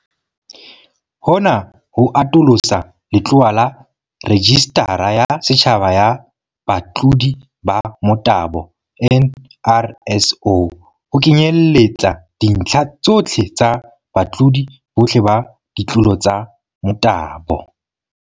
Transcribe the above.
Hona ho atolosa letlowa laRejistara ya Setjhaba ya Batlodi ba Motabo, NRSO, ho kenyelletsa dintlha tsohle tsa batlodi bohle ba ditlolo tsa motabo.